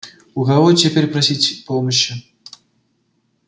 у кого теперь просить помощи